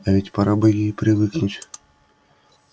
а ведь пора бы ей и привыкнуть